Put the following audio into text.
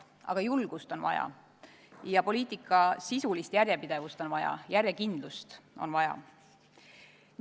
Aga julgust on vaja, poliitika sisulist järjepidevust on vaja, järjekindlust on vaja.